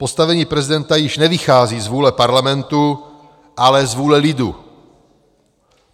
Postavení prezidenta již nevychází z vůle Parlamentu, ale z vůle lidu.